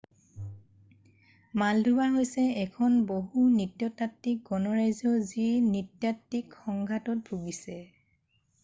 Moldova হৈছে এখন বহু-নৃতাত্বিক গণৰাজ্য যি নৃতাত্বিক সংঘাতত ভুগিছে